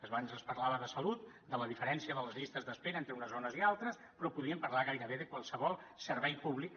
abans es parlava de salut de la diferència de les llistes d’espera entre unes zones i altres però podríem parlar gairebé de qualsevol servei públic